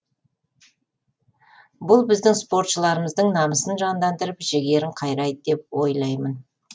бұл біздің спортшыларымыздың намысын жандандырып жігерін қайрайды деп ойаймын